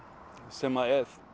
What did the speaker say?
sem